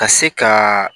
Ka se ka